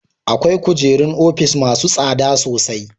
Akwai kujerun ofis masu tsada sosai.